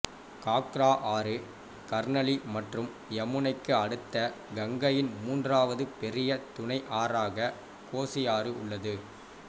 காக்ரா ஆறு கர்னலி மற்றும் யமுனைக்கு அடுத்து கங்கையின் மூன்றாவது பெரிய துணை ஆறாக கோசி ஆறு உள்ளது